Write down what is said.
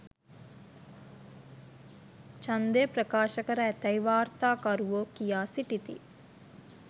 ඡන්දය ප්‍රකාශ කර ඇතැයි වාර්තාකරුවෝ කියා සිටිති